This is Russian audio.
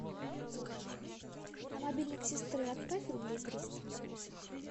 на мобильник сестры отправь рублей триста